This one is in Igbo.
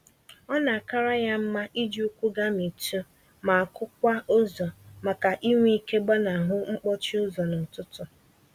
Ọ na-akara ya mma iji ụkwụ gamitụ, ma kụ-kwaa ụzọ, màkà inwe ike gbanahụ mkpọchi ụzọ n'ụtụtụ.